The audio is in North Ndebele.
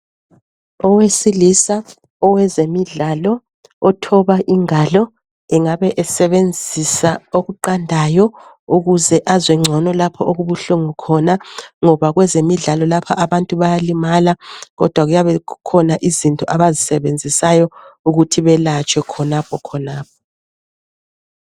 Owesilisa owezemidlalo othoba ingalo engabe esebenzisa okuqandayo ukuze azwe ngcono lapho okubuhlungu khona ngoba kwezemidlalo lapha abantu bayalimala kodwa kuyabe kukhona izinto abazisebenzisayo ukuthi belatshwe khonapho khonapho.